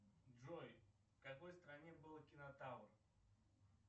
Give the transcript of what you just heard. джой в какой стране был кинотавр